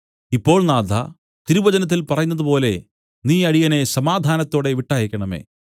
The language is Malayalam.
ഇപ്പോൾ നാഥാ തിരുവചനത്തിൽ പറയുന്നതുപോലെ നീ അടിയനെ സമാധാനത്തോടെ വിട്ടയയ്ക്കേണമേ